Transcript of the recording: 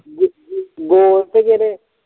ਗੋਲ ਕੇ ਜਿਹੜੇ